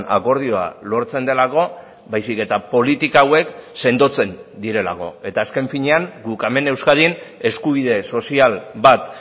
akordioa lortzen delako baizik eta politika hauek sendotzen direlako eta azken finean guk hemen euskadin eskubide sozial bat